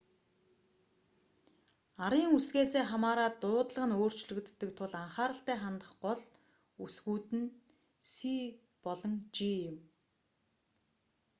арын үсгээсээ хамаараад дуудлага нь өөрчлөгддөг тул анхааралтай хандах гол үсгүүд нь c болон g